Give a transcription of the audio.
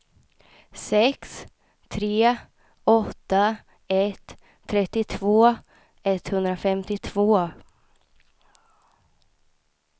sex tre åtta ett trettiotvå etthundrafemtiotvå